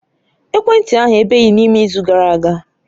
Ekwentị ahụ ebeghị n'ime izu gara aga